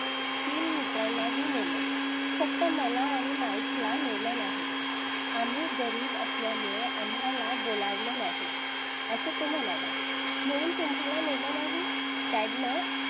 तीन मित्रांना ही नेलं फक्त मला आणि mick ला नेलं नाही. आम्ही गरीब असल्यामुळे आम्हाला बोलावलं नाही. असं तो म्हणाला म्हणून तुम्हाला ने ला नाही dad ने